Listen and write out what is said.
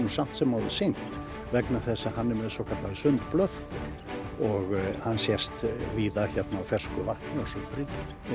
samt sem áður synt vegna þess að hann er með svokallaðar sundblöðkur og hann sést víða hérna á fersku vatni á sumrin